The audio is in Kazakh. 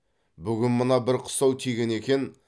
бүгін маған бір қыстау тиген екен